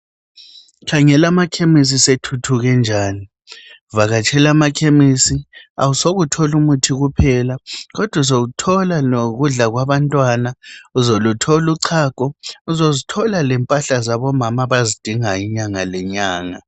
Khangela amakhemesi sethuthuke njani, vakatshela amakhemisi awusoke uthole umuthi kuphela kodwa uzothola lokudla kwabantwana, uthole uchago uzozithola lempahla zabomama abazidingayo inyanga lenyanga.